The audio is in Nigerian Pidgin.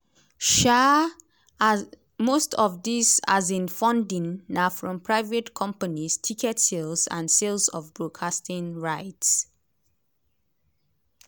di organisers say dem dey use as much recycled materials as dem fit.